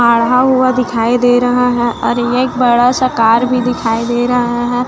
आढा हुआ दिखाई दे रहा है और ये एक बड़ा सा कार भी दिखाई दे रहा है।